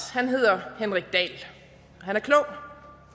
han hedder henrik dahl og han er klog